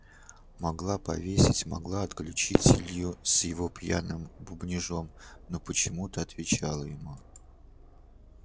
могла повесить могла отключить илью с его пьяным бубнежом но почему-то отвечала ему